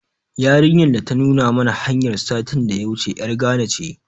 Yarinyar da ta nuna mana hanyar, satin da ya wuce ƴar Gana ce.